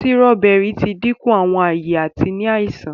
Sírọ́bẹ́rì ti dínkù Àwọn aye àti ní àìsàn